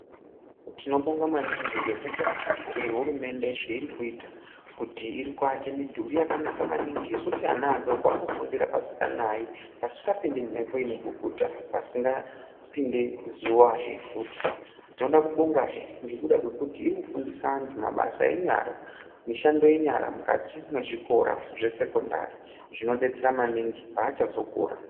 Tinobonga maningi ngekuda kwehurumende zveiri kuita kuti irikuaka midhuri yakanaka maningi yekuti ana adoko anofundira pasikanayi pasikapindi mhepo inebukuta pasikapindi zuvahe futi . Tinoda kubongahe ngekuda kwekuti irikufundisa antu mabasa enyara mishando yenyara mukati mwezvikora zvesekondari zvinodetsera maningi pavachazokura.